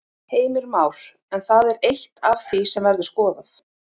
Heimir Már: En það er eitt af því sem verður skoðað?